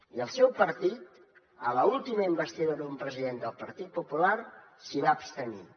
i el seu partit a l’última investidura d’un president del partit popular s’hi va abstenir